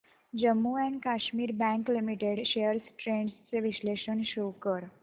Jammu and Kashmir bank limited shares trends चे विश्लेषण show कर